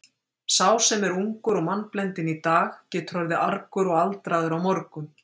Sá sem er ungur og mannblendinn í dag getur orðið argur og aldraður á morgun.